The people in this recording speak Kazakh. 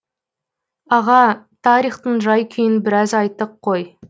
аға тарихтың жай күйін біраз айттық қой